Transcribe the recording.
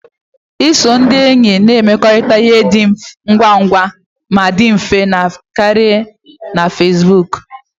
Iso ndị enyi na-emekọrịta ihe na-adị ngwa ngwa ma dị mfe karịa na Facebook